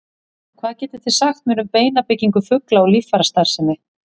Hvað getið þið sagt mér um beinabyggingu fugla og líffærastarfsemi?